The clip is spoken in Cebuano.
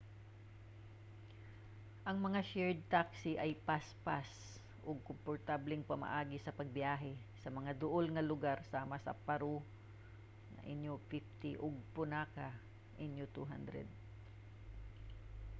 ang mga shared taxi kay paspas ug komportableng pamaagi sa pagbiyahe sa mga duol nga lugar sama sa paro nu 150 ug punakha nu 200